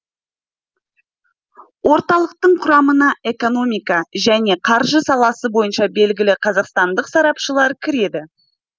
орталықтың құрамына экономика және қаржы саласы бойынша белгілі қазақстандық сарапшылар кіреді